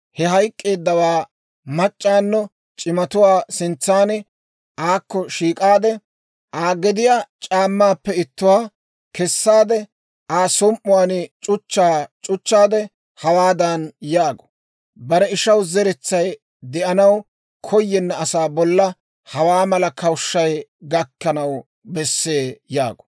he hayk'k'eeddawaa machchato c'imatuwaa sintsan aakko shiik'aade, Aa gediyaa c'aammaappe ittuwaa kessaade, Aa som"uwaan c'uchchaa c'uchchaade hawaadan yaagu; ‹Bare ishaw zeretsay de'anaw koyenna asaa bolla, hawaa mala kawushshay gakkanaw bessee› yaagu.